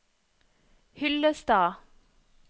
Hyllestad